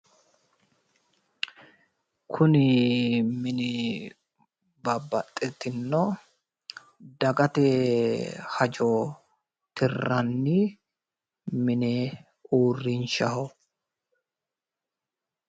kunni minni babbxitino dagaate hajo tiiranni minni urrinshaho